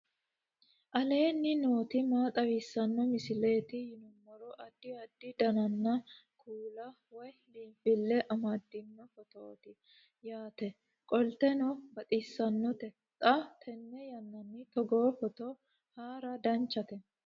aleenni nooti maa xawisanno misileeti yinummoro addi addi dananna kuula woy biinfille amaddino footooti yaate qoltenno baxissannote xa tenne yannanni togoo footo haara danchate